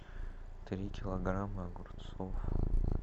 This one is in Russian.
три килограмма огурцов